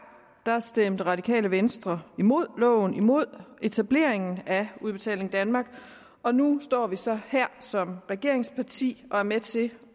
stemte radikale venstre imod loven imod etableringen af udbetaling danmark og nu står vi så her som regeringsparti og er med til